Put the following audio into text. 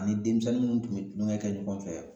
Ani denmisɛnnin munnu tun be kulonkɛ kɛ ɲɔgɔn fɛ